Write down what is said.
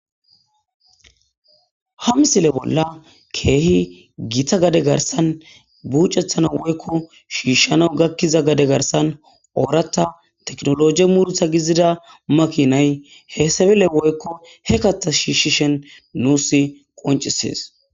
ha misile bolla keehi gita gade garsan buucethana woykko shiishshana gakkiza gade garsan oorata teknologie murutha gizida makinay heesebile woykko he kata shiishshishen nuusi qoncisees